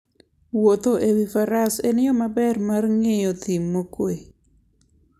Wuotho e wi faras en yo maber mar ng'iyo thim mokuwe.